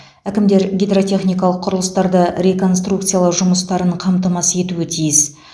әкімдер гидротехникалық құрылыстарды реконструкциялау жұмыстарын қамтамасыз етуі тиіс